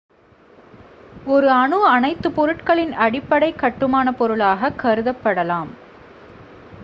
ஒருone அணு அனைத்துப் பொருட்களின் அடிப்படைக் கட்டுமானப் பொருளாக கருதப்படலாம்